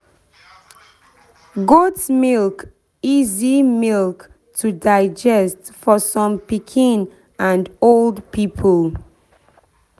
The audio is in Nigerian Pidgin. goat milk easy milk to digest for some pikin and old people.